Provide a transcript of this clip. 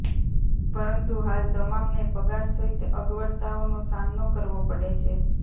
પરંતુ હાલ તમામને પગાર સહિત અગવડતાઓનો સામનો કરવો પડે છે